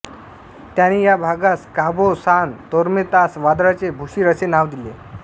त्याने या भागास काबो सान तोर्मेंतास वादळांचे भूशिर असे नाव दिले